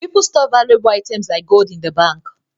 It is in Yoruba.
People store valuable items like gold in the bank